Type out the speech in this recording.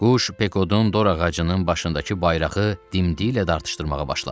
Quş Pekodun dorağacının başındakı bayrağı dimdiyi ilə dartışdırmağa başladı.